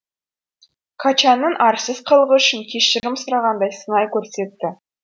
качанның арсыз қылығы үшін кешірім сұрағандай сыңай көрсетті